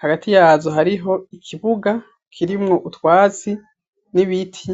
hagati yazo hariho ikibuga kirimwo utwatsi n'ibiti.